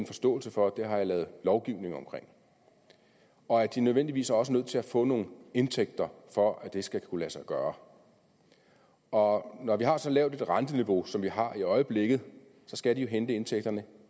forståelse for det har jeg lavet lovgivning om og at de nødvendigvis også er nødt til at få nogle indtægter for at det skal kunne lade sig gøre og når vi har så lavt et renteniveau som vi har i øjeblikket skal de jo hente indtægterne